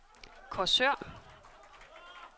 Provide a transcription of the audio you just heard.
Korsør